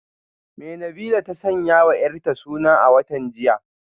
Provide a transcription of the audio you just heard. Me Nabilah ta sanyawa yarta suna a watan jiya?